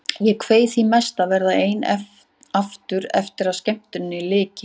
Ég kveið því mest að verða ein aftur eftir að skemmtuninni lyki.